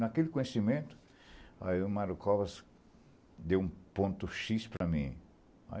Naquele conhecimento, aí o Mario Covas deu um ponto xis para mim.